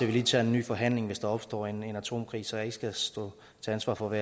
vi lige tager en ny forhandling hvis der opstår en atomkrig så jeg ikke skal stå til ansvar for